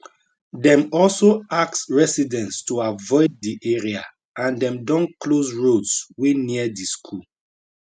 dem also ask residents to avoid di area and dem don close roads wey near di school